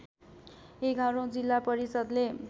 एघारौँ जिल्ला परिषद्ले